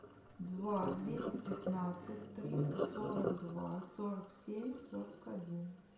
два двести пятнадцать триста сорок два сорок семь сорок один